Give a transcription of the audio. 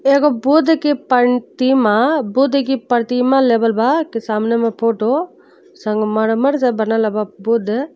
एगो बुद्ध की पंतिमा बुद्ध की परतिमा लेवल बा कि सामने में फोटो । संगमरमर से बनल बा बुद्ध।